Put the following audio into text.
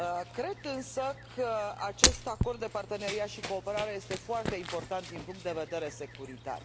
Cred însă că acest acord de parteneriat și cooperare este foarte important din punct de vedere securitar.